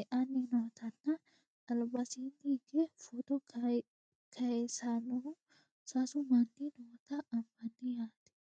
e"anni nootanna albansaanni hige footo kayeesannohu sasu manni noota anfanni yaate